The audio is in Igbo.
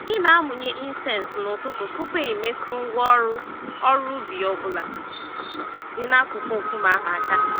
Ị na-amụnye incense n'ụtụtụ tupu i metụ ngwá ọrụ ọrụ ubi ọ bụla dị n'akụkụ nkume ahụ àkà